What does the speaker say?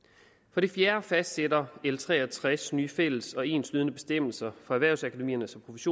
for det fjerde fastsætter l tre og tres nye fælles og enslydende bestemmelser for erhvervsakademiernes